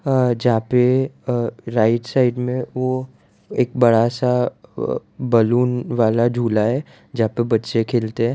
अह जहां पे आह राइट साइड मे वो एक बड़ा सा बलून वाला झूला है जहां पे बच्चे खेलते है --